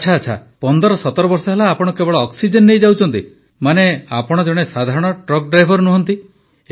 ଆଚ୍ଛା 1517 ବର୍ଷ ହେଲା ଆପଣ କେବଳ ଅକ୍ସିଜେନ ନେଇ ଯାଉଛନ୍ତି ମାନେ ଆପଣ ଜଣେ ସାଧାରଣ ଟ୍ରକ ଡ୍ରାଇଭର ନୁହନ୍ତି